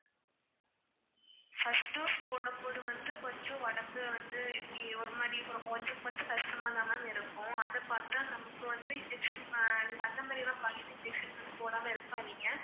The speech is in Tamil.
first dose போடும்போது வந்து கொஞ்சம் உடம்பு வந்து, ஒரு மாதிரி கொஞ்சம் கொஞ்சம் கஷ்டமா தான் இருக்கும் அத பார்த்தா நமக்கு வந்து injection நீங்க அந்த மாதிரிலாம் பயந்து injection மட்டும் போடாம இருக்காதீங்க